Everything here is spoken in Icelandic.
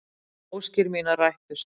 Óskir mínar rættust.